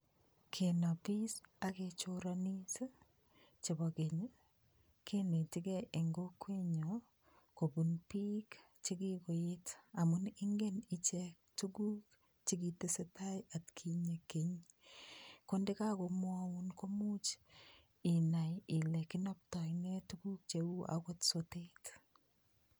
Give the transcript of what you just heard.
Kenapis ak kechoranis ii chebo keny ii, kenetekei eng kokwenyo kobun piik che kikoet amun ingen ichek tukuk che kitesetai atkinye keny, ko ndekakomwaun komuch inai ile kinoptoi nee tukuk cheu akot sotet.